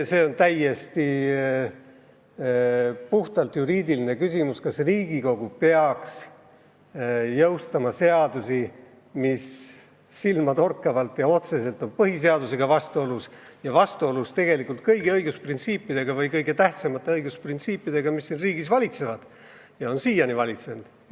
See on puhtalt juriidiline küsimus, kas Riigikogu peaks jõustama seadusi, mis silmatorkavalt ja otseselt on põhiseadusega vastuolus ja vastuolus tegelikult kõige tähtsamate õigusprintsiipidega, mis siin riigis siiani on valitsenud.